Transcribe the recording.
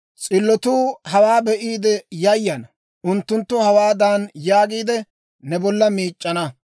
S'illotuu hawaa be'iide yayana. Unttunttu hawaadan yaagiide, ne bolla miic'c'ana;